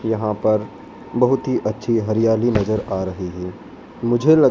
यहां पर बहुत ही अच्छी हरियाली नजर आ रही है मुझे लग--